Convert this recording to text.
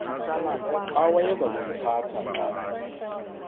awayeza kuliphatha xa